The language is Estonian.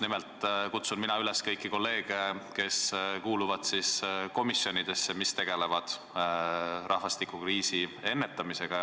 Nimelt kutsun mina üles kõiki kolleege, kes kuuluvad komisjonidesse, mis tegelevad rahvastikukriisi ennetamisega.